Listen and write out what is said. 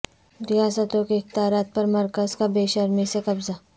ریاستوں کے اختیارات پر مرکز کا بے شرمی سے قبضہ